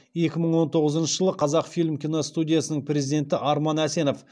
екі мың он тоғызыншы жылы қазақфильм киностудиясының президенті арман әсенов